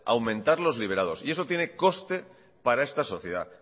aumentar los liberados y eso tiene coste para esta sociedad